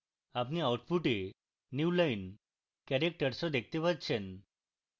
আপনি output newline characters ও দেখতে পাচ্ছি